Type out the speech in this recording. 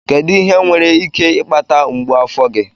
Kedu ihe nwere ike ịkpata mgbu afọ gị?